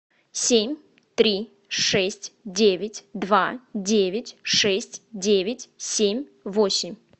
семь три шесть девять два девять шесть девять семь восемь